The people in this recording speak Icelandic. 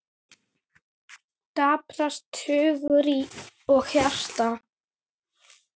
Daprast hugur og hjarta.